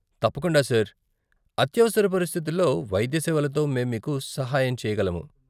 తప్పకుండా సార్, అత్యవసర పరిస్థితుల్లో వైద్య సేవలతో మేము మీకు సహాయం చేయగలము.